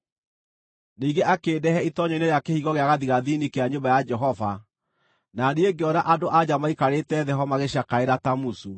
Ningĩ akĩndehe itoonyero-inĩ rĩa kĩhingo gĩa gathigathini kĩa nyũmba ya Jehova, na niĩ ngĩona andũ-a-nja maikarĩte thĩ ho magĩcakaĩra Tamuzu.